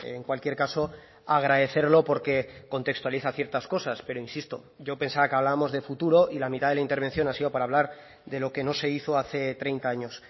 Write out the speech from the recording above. en cualquier caso agradecerlo porque contextualiza ciertas cosas pero insisto yo pensaba que hablábamos de futuro y la mitad de la intervención ha sido para hablar de lo que no se hizo hace treinta años